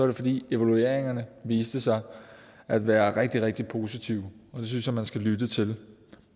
det fordi evalueringerne viste sig at være rigtig rigtig positive og det synes jeg man skal lytte til